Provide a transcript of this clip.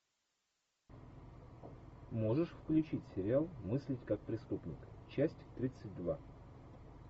можешь включить сериал мыслить как преступник часть тридцать два